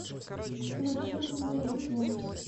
включи известия